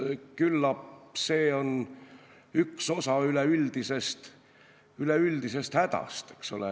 Küllap see on üks osa üleüldisest hädast, eks ole.